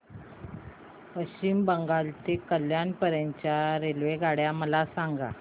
पश्चिम बंगाल ते कल्याण पर्यंत च्या रेल्वेगाड्या मला सांगा